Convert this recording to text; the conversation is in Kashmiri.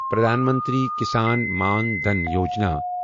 پرٛدھان منتری کِسان مان دٛھن یوجنا